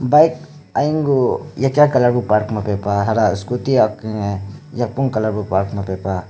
bike aniy guh yakiya colour bu parking mapeh pah hara scooty yapong colour bu park mapeh pah.